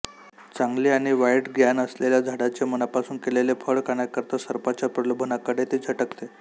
चांगले आणि वाईट ज्ञान असलेल्या झाडाचे मनापासून केलेले फळ खाण्याकरिता सर्पाच्या प्रलोभनाकडे ती झटकते